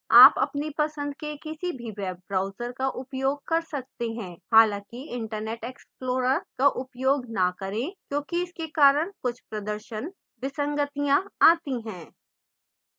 आप अपनी पसंद के किसी भी web browser का उपयोग कर सकते हैं